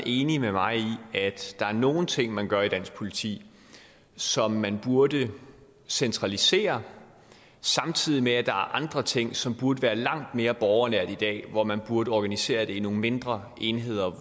enig med mig i at der er nogle ting man gør i dansk politi som man burde centralisere samtidig med at der er andre ting som burde være langt mere borgernært i dag altså hvor man burde organisere det i nogle mindre enheder